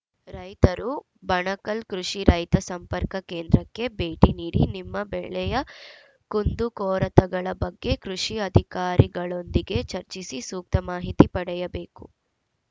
ರೈತರು ಬಣಕಲ್‌ ಕೃಷಿ ರೈತ ಸಂಪರ್ಕ ಕೇಂದ್ರಕ್ಕೆ ಬೇಟಿ ನೀಡಿ ನಿಮ್ಮ ಬೆಳೆಯ ಕುಂದುಕೊರತೆಗಳ ಬಗ್ಗೆ ಕೃಷಿ ಅಧಿಕಾರಿಗಳೊಂದಿಗೆ ಚರ್ಚಿಸಿ ಸೂಕ್ತ ಮಾಹಿತಿ ಪಡೆಯಬೇಕು